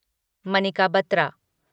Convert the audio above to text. Manika Batra